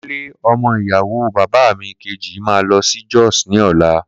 Kunle, ọmọ ìyàwó bàbá mi kejì máa lọ sí Jos ni ọ̀la.